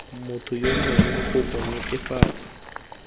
motho yo mongwe kopo netefatsa